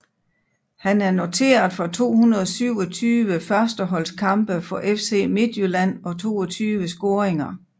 Han er noteret for 227 førsteholdskampe for FC Midtjylland og 22 scoringer